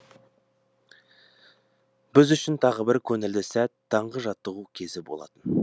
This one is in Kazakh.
біз үшін тағы бір көңілді сәт таңғы жаттығу кезі болатын